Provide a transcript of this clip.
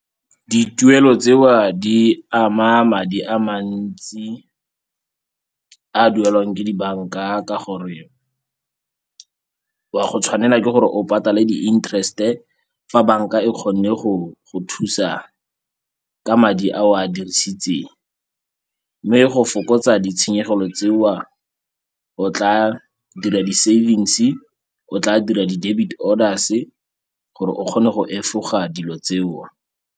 Dituelo tseo di ama madi a mantsi a duelwang ke dibanka ka gore wa go tshwanela ke gore o patale di-interest-e fa banka e kgonne go thusa ka madi a o a dirisitseng. Mme go fokotsa ditshenyegelo tseo o tla dira di-savings-e, o tla dira di-debit orders-e gore o kgone go efoga dilo tseo.